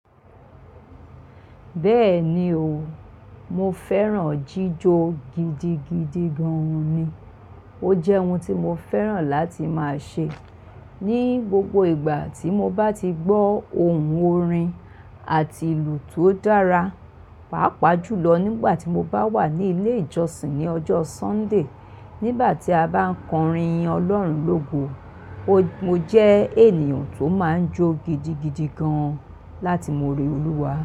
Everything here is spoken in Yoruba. Bẹ́ẹ̀ni o, mo fẹ́ràn jíjó gidigidi gan ni. O jẹ́ ohun tí mo fẹ́ràn láti máa ṣe ní gbogbo ìgbà tí mo bá ti gbọ́ ohùn orin àti ìlù tó dára, pàápàá jùlọ nígbà tí mo bá wà ní ilé ìjọsìn ní ọjọ́ Sunday nígbà tí a bá ń kọrin yín Ọlọ́run lógo. Mo jẹ́ ènìyàn tó máa ń jó gidigidi gan láti mo ore Olúwa.